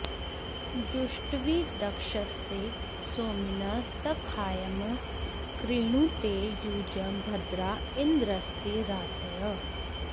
जुष्ट्वी दक्षस्य सोमिनः सखायं कृणुते युजं भद्रा इन्द्रस्य रातयः